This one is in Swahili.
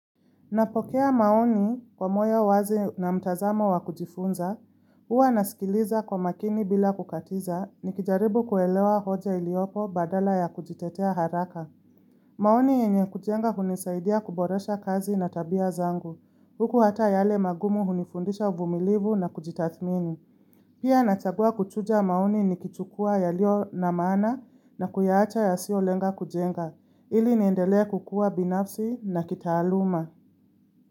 Napokea maoni kwa moyo wazi na mtazamo wa kujifunza, huwa nasikiliza kwa makini bila kukatiza, nikijaribu kuelewa hoja iliopo badala ya kujitetea haraka. Maoni yenye kujenga hunisaidia kuboresha kazi na tabia zangu. Huku hata yale magumu hunifundisha uvumilivu na kujitathmini. Pia nachagua kuchuja maoni nikichukua yaliyo na maana na kuyaacha yasiolenga kujenga, ili niendelea kukua binafsi na kitaaluma.